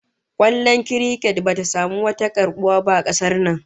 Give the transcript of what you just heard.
Kwallon kurket bata samu wani karbuwa ba a kasar nan